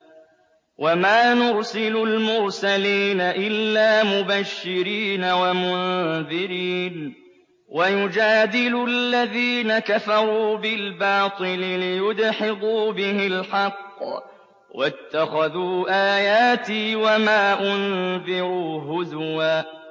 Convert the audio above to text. وَمَا نُرْسِلُ الْمُرْسَلِينَ إِلَّا مُبَشِّرِينَ وَمُنذِرِينَ ۚ وَيُجَادِلُ الَّذِينَ كَفَرُوا بِالْبَاطِلِ لِيُدْحِضُوا بِهِ الْحَقَّ ۖ وَاتَّخَذُوا آيَاتِي وَمَا أُنذِرُوا هُزُوًا